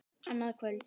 Annað kvöld.